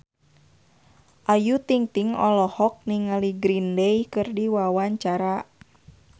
Ayu Ting-ting olohok ningali Green Day keur diwawancara